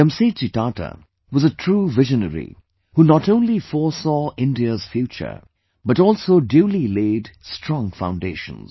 Jamsetji Tata was a true visionary, who not only foresaw India's future, but also duly laid strong foundations